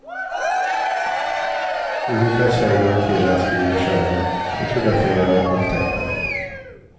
Olika tjejer och killar skriver själva, fotograferar och tecknar.